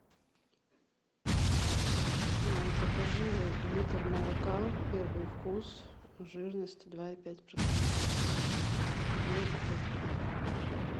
закажи литр молока первый вкус жирность два и пять процента две упаковки